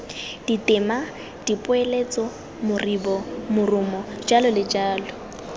ditema dipoeletso moribo morumo jj